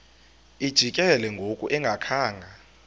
lijikile ngoku engakhanga